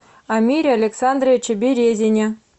амире александровиче березине